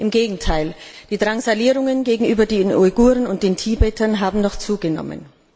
Im Gegenteil Die Drangsalierungen gegenüber den Uiguren und den Tibetern haben noch zugenommen.